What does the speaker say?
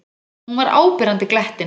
Hún var áberandi glettin.